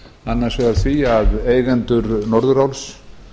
annars vegar því að eigendur norðuráls